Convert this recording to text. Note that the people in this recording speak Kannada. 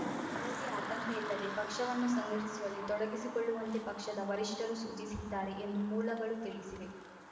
ಯಾವುದೇ ಆತಂಕ ಇಲ್ಲದೆ ಪಕ್ಷವನ್ನು ಸಂಘಟಿಸುವಲ್ಲಿ ತೊಡಗಿಸಿಕೊಳ್ಳುವಂತೆ ಪಕ್ಷದ ವರಿಷ್ಠರು ಸೂಚಿಸಿದ್ದಾರೆ ಎಂದು ಮೂಲಗಳು ತಿಳಿಸಿವೆ